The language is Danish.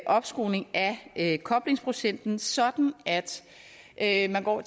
opskruning af koblingsprocenten sådan at man går